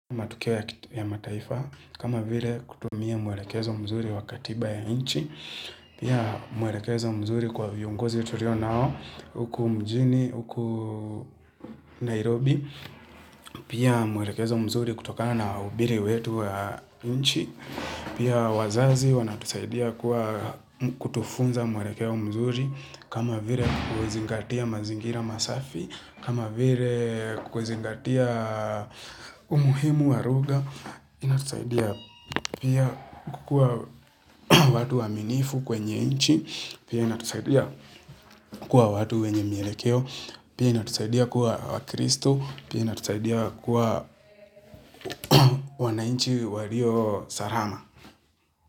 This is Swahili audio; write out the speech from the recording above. Matukio ya mataifa, kama vile kutumia mwelekezo mzuri wa katiba ya inchi, pia mwelekezo mzuri kwa viongozi tulio nao, huku mjini huku Nairobi, pia mwelekezo mzuri kutokana na wahubiri wetu wa nchi, pia wazazi wanatusaidia kuwa kutufunza mwelekeo mzuri, kama vile kuzingatia mazingira masafi, kama vile kuzingatia umuhimu wa lugha, inatusaidia pia kukua watu waaminifu kwenye nchi, pia inatusaidia kukua watu wenye mielekeo, pia inatusaidia kuwa wakristo, pia inatusaidia kukua wananchi walio salama.